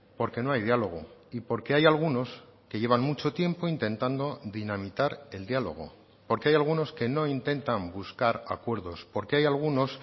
porque no hay diálogo y porque hay algunos que llevan mucho tiempo intentando dinamitar el diálogo porque hay algunos que no intentan buscar acuerdos porque hay algunos